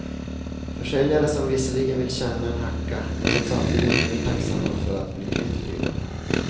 Försäljare som visserligen vill tjäna en hacka, men som samtidigt är mer än tacksamma för att bli kvitt prylarna.